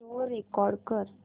show record कर